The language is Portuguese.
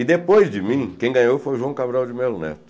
E depois de mim, quem ganhou foi o João Cabral de Melo Neto.